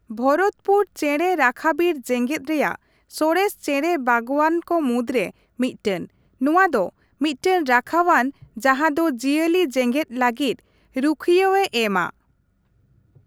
ᱵᱷᱚᱨᱚᱛᱯᱩᱨ ᱪᱮᱬᱮ ᱨᱟᱠᱷᱟᱵᱤᱨ ᱡᱮᱜᱮᱫ ᱨᱮᱭᱟᱜ ᱥᱚᱨᱮᱥ ᱪᱮᱬᱮ ᱵᱟᱜᱣᱟᱱᱠᱚ ᱢᱩᱫᱽᱨᱮ ᱢᱤᱫᱴᱮᱱ; ᱱᱚᱣᱟ ᱫᱚ ᱢᱤᱫᱴᱮᱱ ᱨᱟᱠᱷᱟᱣᱟᱱ ᱡᱟᱦᱟᱸ ᱫᱚ ᱡᱤᱭᱟᱹᱞᱤ ᱡᱮᱜᱮᱫ ᱞᱟᱹᱜᱤᱫ ᱨᱩᱠᱷᱟᱹᱟᱣᱮ ᱮᱢᱟ ᱾